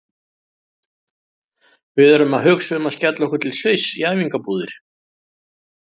Við erum að hugsa um að skella okkur til Sviss í æfingabúðir.